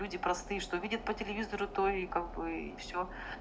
люди простые что видят по телевизору то и как бы всё